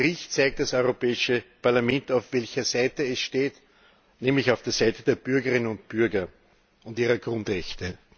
Mit diesem Bericht zeigt das Europäische Parlament, auf welcher Seite es steht, nämlich auf der Seite der Bürgerinnen und Bürger und ihrer Grundrechte.